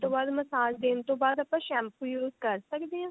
ਤੋਂ ਬਾਅਦ message ਦੇਣ ਤੋਂ ਬਾਅਦ ਆਪਾਂ shampoo use ਕਰ ਸਕਦੇ ਹਾਂ